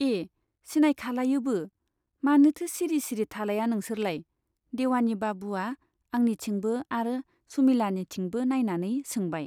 ए सिनायखालायोबो ? मानोथो सिरि सिरि थालाया नोंसोरलाय ? देवानि बाबुवा आंनिथिंबो आरो सुमिलानिथिंबो नाइनानै सोंबाय।